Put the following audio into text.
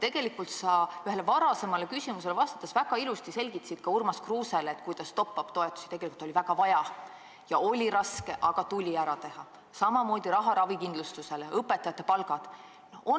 Tegelikult sa Urmas Kruuse küsimusele vastates väga ilusti selgitasid, et top-up toetusi tegelikult oli väga vaja ja et raske oli leida raha ravikindlustuseks ja õpetajate palkadeks, aga see tuli ära teha.